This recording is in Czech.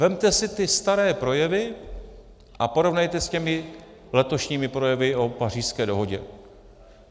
Vezměte si ty staré projevy a porovnejte s těmi letošními projevy o Pařížské dohodě.